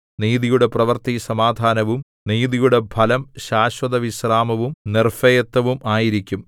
നീതിയുടെ പ്രവൃത്തി സമാധാനവും നീതിയുടെ ഫലം ശാശ്വതവിശ്രമവും നിർഭയത്വവും ആയിരിക്കും